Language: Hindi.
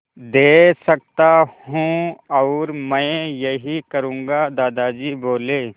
दे सकता हूँ और मैं यही करूँगा दादाजी बोले